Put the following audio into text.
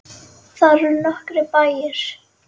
Þar eru nokkrir bæir.